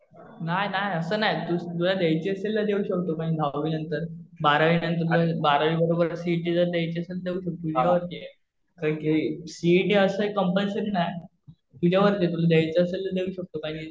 नाही नाही. असं नाही. तुला द्यायची असेल तर देऊ शकतो म्हणजे दहावी नंतर. बारावी बरोबर सीइटी जर द्यायची असेल तर ते तुझ्यावरती आहे. कारण कि सीइटी असं कम्पल्सरी नाही. तुझ्यावरती आहे. तुला द्यायचं असेल तर देऊ शकतो.